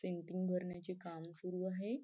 भरण्याचे काम सुरू आहे.